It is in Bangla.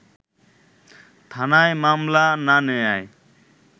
থানায় মামলা না নেয়ায়